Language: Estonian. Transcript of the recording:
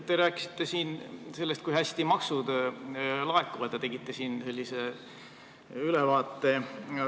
Te rääkisite siin, kui hästi maksud laekuvad, ja tegite sellest ülevaate.